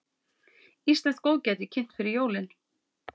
Íslenskt góðgæti kynnt fyrir jólin